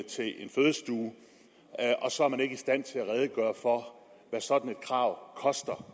til en fødestue og så er man ikke i stand til at redegøre for hvad sådan et krav koster